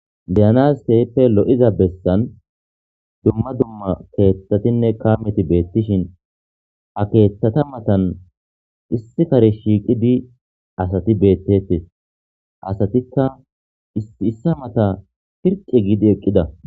Deyanas teyeppe lo7iza bessan dumma dumma keeththatinne kaameti beettishin akeeththata matan issi kare shiiqi di asati beettetes asatikka iissa mata pirqi giidi eqqida.